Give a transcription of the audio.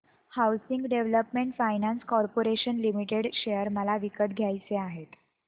housing development finance corporation limited share मला विकत घ्यायचे आहेत